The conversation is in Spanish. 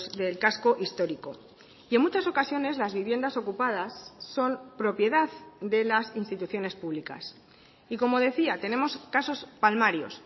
del casco histórico y en muchas ocasiones las viviendas ocupadas son propiedad de las instituciones públicas y como decía tenemos casos palmarios